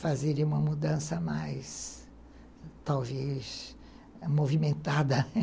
Fazer uma mudança mais, talvez, movimentada